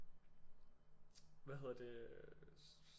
Hvad hedder det